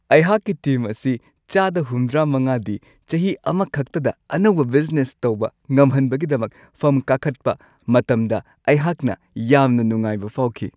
ꯑꯩꯍꯥꯛꯀꯤ ꯇꯤꯝ ꯑꯁꯤ ꯆꯥꯗ ꯷꯵ꯗꯤ ꯆꯍꯤ ꯑꯃꯈꯛꯇꯗ ꯑꯅꯧꯕ ꯕꯤꯖꯤꯅꯦꯁ ꯇꯧꯕ ꯉꯝꯍꯟꯕꯒꯤꯗꯃꯛ ꯐꯝ ꯀꯥꯈꯠꯄ ꯃꯇꯝꯗ ꯑꯩꯍꯥꯛꯅ ꯌꯥꯝꯅ ꯅꯨꯡꯉꯥꯏꯕ ꯐꯥꯎꯈꯤ ꯫